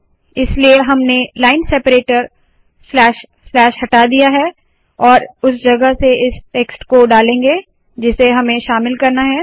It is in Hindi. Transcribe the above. इसलिए हमने लाइन सेपरेटर स्लैश स्लैश हटा दिया है और उस जगह इस टेक्स्ट को डालेंगे जिसे हमें शामिल करना है